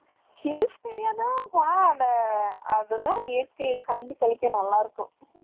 Hills area தான் இயற்கைய கண்டு கழிக்க நல்லா இருக்கும்.